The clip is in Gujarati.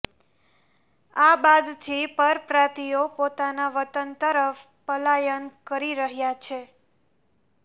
આ બાદથી જ પરપ્રાંતિયો પોતાના વતન તરફ પલાયન કરી રહ્યા છે